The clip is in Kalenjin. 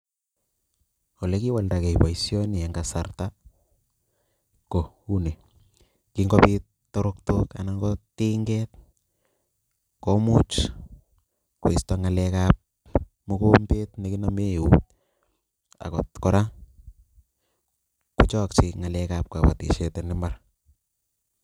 Olekiwaldakei boisioni eng kasarta ko uu ni, kingobit toroktok anan ko tinget, komuch koisto ngalekab mokombet ne kinome eut, akot kora kochokchin ngalekab kabatisiet en imbar.